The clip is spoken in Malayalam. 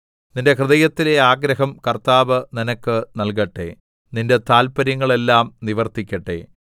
നിന്റെ ഹൃദയത്തിലെ ആഗ്രഹം കർത്താവ് നിനക്ക് നല്കട്ടെ നിന്റെ താത്പര്യങ്ങൾ എല്ലാം നിവർത്തിക്കട്ടെ